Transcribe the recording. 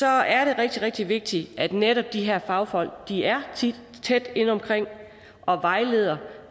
er rigtig rigtig vigtigt at netop de her fagfolk er tæt inde omkring og vejleder